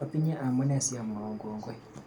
Atinye amune si amwoun kongoi